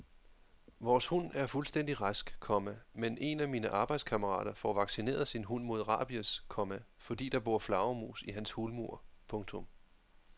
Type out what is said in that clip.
Vores hund er fuldstændig rask, komma men en af mine arbejdskammerater får vaccineret sin hund mod rabies, komma fordi der bor flagermus i hans hulmur. punktum